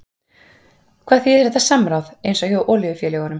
Hvað þýðir þetta samráð, eins og hjá olíufélögunum?